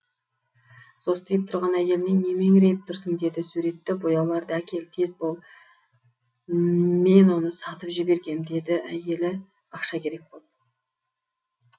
состиып тұрған әйеліне не меңірейіп тұрсың деді суретті бояуларды әкел тез бол мен оны сатып жібергем деді әйелі ақша керек боп